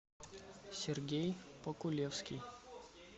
сергей покулевский